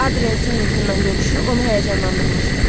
Adrian Singletondan görüşü onu həyəcanlandırmışdı.